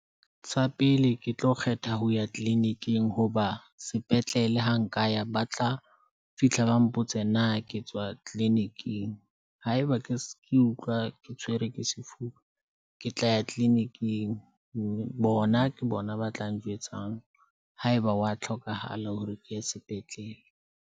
Sa pele ke tlo kgetha ho ya clinic-ing hoba sepetlele ha nka ya ba tla fihla, ba mpotse na ke tswa clinic-ing. Haeba ke ke utlwa ke tshwerwe ke sefuba, ke tla ya kliniking. Bona ke bona ba tla njwetsang ha eba wa tlhokahala hore ke ye sepetlele.